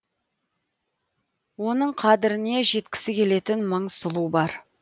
оның қадіріне жеткісі келетін мың сұлу бар